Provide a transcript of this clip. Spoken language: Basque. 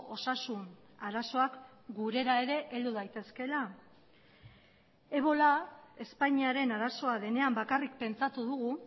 osasun arazoak gurera ere heldu daitezkeela ebola espainiaren arazoa denean bakarrik pentsatu dugu